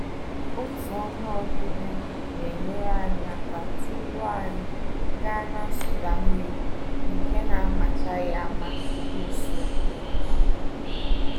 Otu onye ọbịbịa na-enyere anyị aka duuru anyị gaa na-nsụda mmiri nke na amachaghị ama dị nso mara mma.